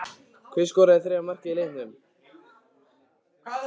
Hver skoraði þriðja markið í leiknum?